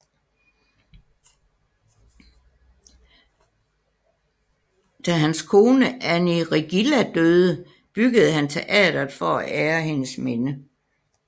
Da hans kone Annie Riggilla døde byggede han teatret for at ære hendes minde